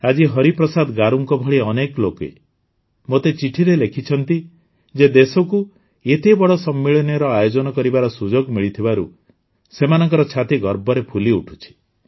ଆଜି ହରିପ୍ରସାଦ ଗାରୁଙ୍କ ଭଳି ଅନେକ ଲୋକେ ମୋତେ ଚିଠିରେ ଲେଖିଛନ୍ତି ଯେ ଦେଶକୁ ଏତେବଡ଼ ସମ୍ମିଳନୀର ଆୟୋଜନ କରିବାର ସୁଯୋଗ ମିଳିଥିବାରୁ ସେମାନଙ୍କ ଛାତି ଗର୍ବରେ ଫୁଲିଉଠୁଛି